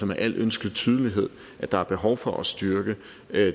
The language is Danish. med al ønskelig tydelighed at der er behov for at styrke